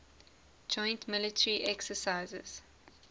joint military exercises